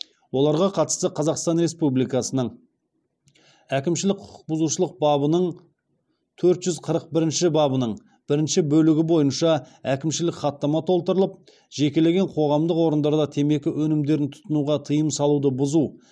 оларға қатысты қазақстан республикас әкімшілік құқық бұзушылық бабының төрт жүз қырық бірінші бабының бірінші бөлігі бойынша әкімшілік хаттама толтырылып